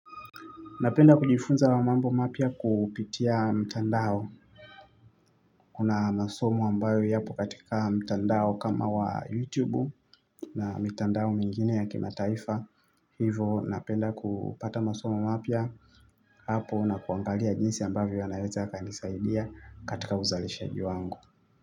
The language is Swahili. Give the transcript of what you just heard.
Napenda kujifunza mambo mapya kupitia mtandao. Kuna masomo ambayo yapo katika mtandao kama wa youtube na mitandao mingine ya kimataifa. Hivo napenda kupata masomo mapya hapo na kuangalia jinsi ambavyo yanaweza yakanisaidia katika uzalishaji wangu.